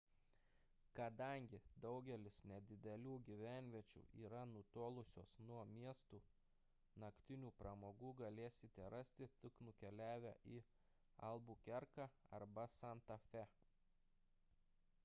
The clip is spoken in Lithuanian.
kadangi daugelis nedidelių gyvenviečių yra nutolusios nuo miestų naktinių pramogų galėsite rasti tik nukeliavę į albukerką arba santa fė